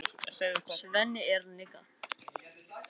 Til er ég, svarar Svenni heils hugar.